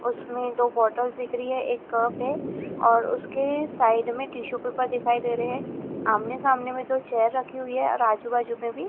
उसमें दो बॉटल्स दिख रही है एक कप है और उसके साइड में टिशू पेपर दिखाई दे रहे हैं आमने सामने में दो चेयर रखी हुई है और आजू बाजू में भी--